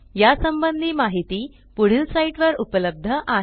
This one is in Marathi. या संबंधी माहिती पुढील साईटवर उपलब्ध आहे